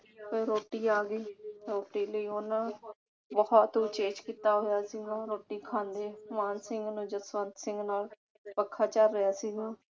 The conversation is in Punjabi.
ਫਿਰ ਰੋਟੀ ਆ ਗਈ। ਰੋਟੀ ਲਈ ਉਨ੍ਹਾਂ ਬਹੁਤ ਉਚੇਚ ਕੀਤਾ ਹੋਇਆ ਸੀਗਾ। ਰੋਟੀ ਖਾਂਦੇ ਮਾਨ ਸਿੰਘ ਨੂੰ ਜਸਵੰਤ ਸਿੰਘ ਨਾ ਪੱਖਾ ਝੱਲ ਰਿਹਾ ਸੀਗਾ।